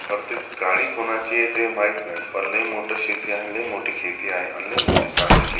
पण ते गाडी कोणाची आहे ते माहीत नाही पण लय मोठी शेती आहे आणि लय मोठ खेती आहे आणि लय मोठी चांगली खेती--